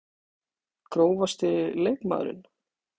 Grófasti leikmaðurinn?